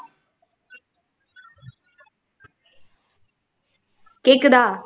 கேக்குதா